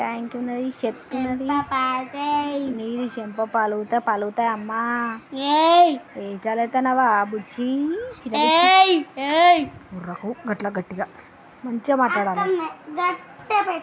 tank వున్నది steps వున్నది నీది షెమ్ప పల్గుతాయి పల్గుతాయి అమ్మ వెషాల్ ఎత్తన్నావా బుజ్జి ఒఱకు గట్ల గట్టిగ మంచిగా మాట్లాడాలే --